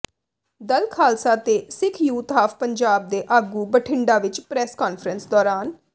ਦਲ ਖ਼ਾਲਸਾ ਤੇ Sikh youth of Punjab ਦੇ ਆਗੂ ਬਠਿੰਡਾ ਵਿੱਚ ਪ੍ਰੈਸ ਕਾਨਫਰੰਸ ਦੌਰਾਨ